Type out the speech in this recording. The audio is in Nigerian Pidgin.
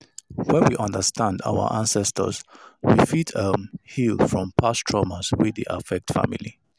When we understand our ancestors we fit um heal from past traumas wey dey affect family